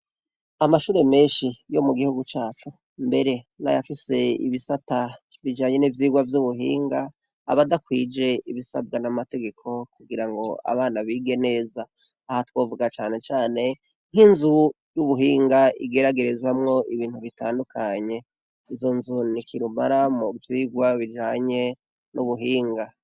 Amashure meshi yo mu gihugu cacu, mbere n'ayafise ibisata bijanye n'ivyigwa vy'ubuhinga, aba adakwije ibisabwa n'amategeko kugira ngo abana bige neza. Aha twovuga cane cane nk'inzu y'ubuhinga igeragerezamwo ibintu bitandukanye. Izo nzu ni kirumara mu vyigwa bijanye n'ubuhinga.